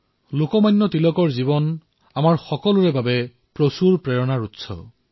লোকমান্য তিলকৰ জীৱন আমাৰ সকলোৰে বাবে প্ৰেৰণাৰ এক বৃহৎ উৎস